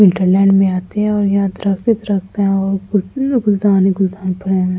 Wonderland में आते हैं और यहाँ दरख्त ही दरख्त हैं है और गुलदान ही गुल्दान पड़े हुए हैं ।